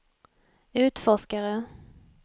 utforskare